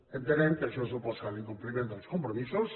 entenem que això suposa l’incompliment dels compromisos